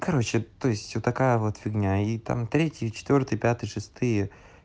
короче то есть вот такая вот фигня и там третья четвёртые пятые шестые